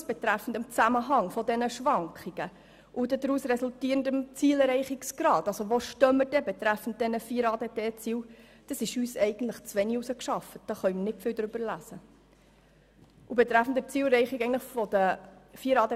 Aber die Schlüsse betreffend Zusammenhang der Schwankungen und dem daraus resultierenden Zielerreichungsgrad bezüglich der vier ADT-Ziele, ist uns zu wenig herausgearbeitet.